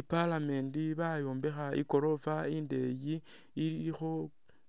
I'parlament bayombekha i'goroofa indeyi ilikho